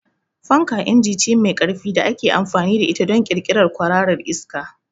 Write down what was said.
Fanka inji ce mai ƙarfi da ake amfani da ita don ƙirƙirar kwararar iska.